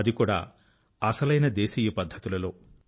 అది కూడా అసలైన దేశీయ పద్ధతుల లో